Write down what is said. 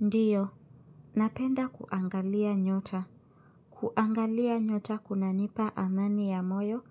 Ndiyo, napenda kuangalia nyota. Kuangalia nyota kunanipa amani ya moyo